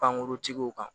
Pankuruntigiw kan